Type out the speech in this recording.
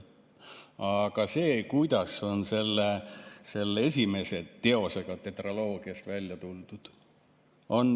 Aga see, kuidas on selle esimese teosega tetraloogiast välja tuldud.